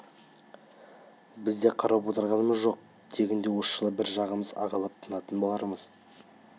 біз де қарап отырғанымыз жоқ тегінде осы жолы бір жағымыз ағалап тынатын болармыз